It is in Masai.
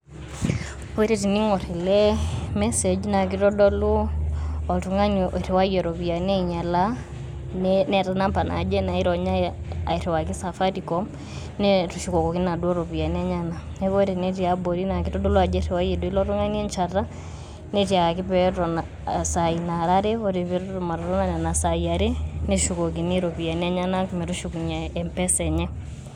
Ore teniing'or ele message naa kitodolu oltung'ani oiriwayie iropiani ainyalaa, neata enumber naaje naironya ariwaki Safaricom netushukoki naduo rupiani enyena. Neaku ore ene tiabori, nake eitodolu ajo eiriwayie duo ilo tung'ani encheta netiakaki peeton isai naara are ore petum atotona nena sai nara are, neshukokini iropiani enyena metushukunye Mpesa enye.